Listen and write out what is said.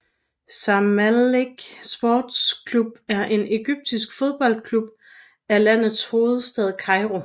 Zamalek Sports Club er en egyptisk fodboldklub fra landets hovedstad Kairo